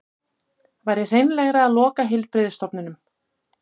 Væri hreinlegra að loka heilbrigðisstofnunum